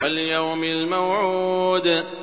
وَالْيَوْمِ الْمَوْعُودِ